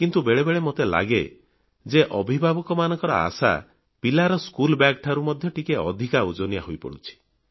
କିନ୍ତୁ ବେଳେବେଳେ ମୋତେ ଲାଗେ ଯେ ଅଭିଭାବକମାନଙ୍କ ଆଶା ପିଲାର ସ୍କୁଲ ବାଗ୍ ଠାରୁ ମଧ୍ୟ ଟିକିଏ ଅଧିକ ଓଜନିଆ ହୋଇପଡ଼ୁଛି